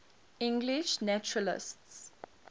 english naturalists